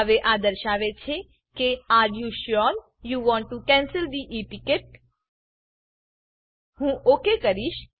હવે આ દર્શાવે છે કે are you sure you want to cancel the e ticket હું ઓક કહીશ